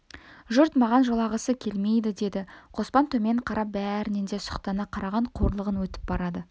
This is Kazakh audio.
жұрт маған жолағысы келмейді деді қоспан төмен қарапбәрінен де сұқтана қараған қорлығы өтіп барады